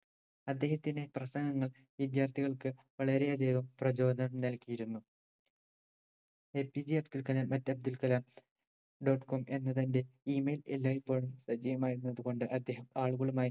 അദ്ദേഹത്തിന്റെ പ്രസംഗങ്ങൾ വിദ്യാർത്ഥികൾക്ക് വളരെയധികം പ്രചോദനം നൽകിയിരുന്നു APJ Abdul Kalam at Abdul Kalam dot com എന്ന് തന്റെ email എല്ലായ്‌പ്പോഴും സജീവമായിരുന്നത് കൊണ്ട് അദ്ദേഹം ആളുകളുമായും